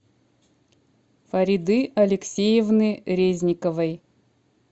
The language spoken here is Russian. фариды алексеевны резниковой